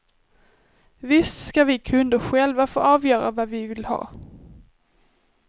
Visst ska vi kunder själva få avgöra vad vi vill ha.